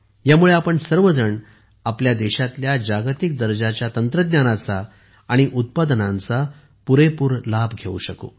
यामुळे आपण सर्वजण आपल्या देशातल्या जागतिक दर्जाच्या तंत्रज्ञानाचा आणि उत्पादनांचा पुरेपूर लाभ घेऊ शकू